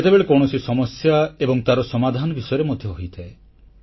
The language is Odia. କେତେବେଳେ କୌଣସି ସମସ୍ୟା ଏବଂ ତାର ସମାଧାନ ବିଷୟରେ ମଧ୍ୟ ହୋଇଥାଏ